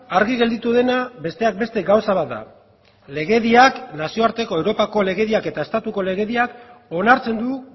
argi gelditu dena besteak beste gauza bat da legediak nazioarteko europako legediak eta estatuko legediak onartzen du